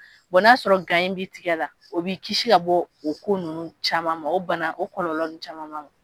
n'a sɔrɔ b'i tɛgɛ la o b'i kisi ka bɔ o ko ninnu caman ma o bana o kɔlɔlɔ ninnu caman